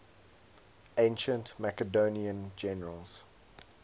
ancient macedonian generals